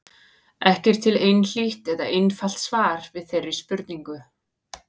Ekki er til einhlítt eða einfalt svar við þeirri spurningu.